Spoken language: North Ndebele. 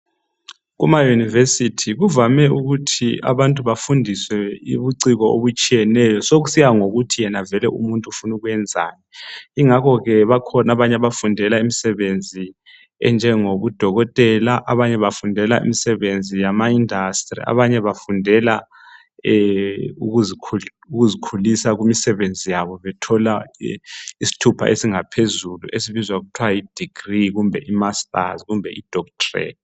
Kuma university kuvame ukuthi abantu bafundiswe ubuciko obutshiyeneyo sokusiya ngokuthi yena vele umuntu ufuna ukuyenzani. Yingakho bakhona abanye abafundela imsebenzi enjengobudokotela, abanye bafundela imsebenzi yama industry abanye bafundela ukuzikhulisa kumsebenzi yabo bethola isithupha esingaphezulu esibizwa kuthwa yidegree kumbe imasters kumbe idoctorate.